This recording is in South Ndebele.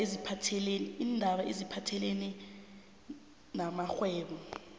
iindaba eziphathelene namrhwebo